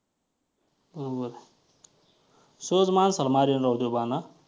हम्म बरोबर आहे. सहज माणसाला मारील राव ते बाण हां.